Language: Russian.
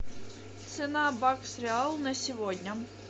цена бакс реал на сегодня